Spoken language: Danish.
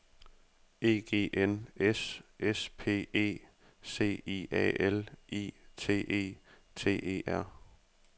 E G N S S P E C I A L I T E T E R